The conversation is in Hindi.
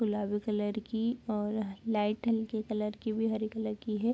गुलाबी कलर की और लाइट हल्की कलर की भी हरी कलर की है।